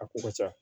A ko ka ca